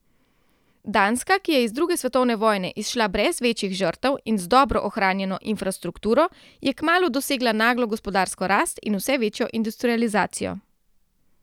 Danska, ki je iz druge svetovne vojne izšla brez večjih žrtev in z dobro ohranjeno infrastrukturo, je kmalu dosegla naglo gospodarsko rast in vse večjo industrializacijo.